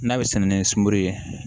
N'a bɛ sɛn ni sunkuru ye